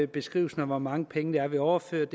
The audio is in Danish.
beskrivelsen af hvor mange penge vi har overført